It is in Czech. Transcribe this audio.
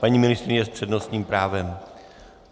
Paní ministryně s přednostním právem.